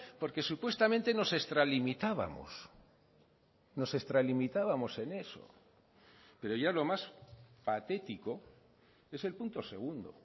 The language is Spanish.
porque supuestamente nos extralimitábamos nos extralimitábamos en eso pero ya lo más patético es el punto segundo